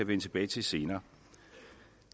vende tilbage til senere